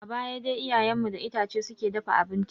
A baya dai iyayen mu da itace suke dafa abinci.